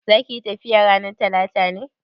Zaka yi tafiya ranar Talata ne?